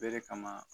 Bere kama